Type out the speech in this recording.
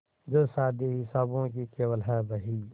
जो शादी हिसाबों की केवल है बही